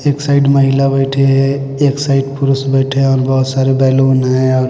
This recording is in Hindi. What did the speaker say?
एक साइड महिला बैठी है एक साइड पुरुष बैठे हैं और बहोत सारे बैलून है।